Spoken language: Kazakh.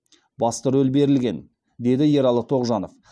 басты рөл берілген деді ералы тоғжанов